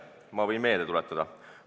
Ma võin meelde tuletada.